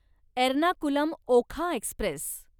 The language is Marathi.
एर्नाकुलम ओखा एक्स्प्रेस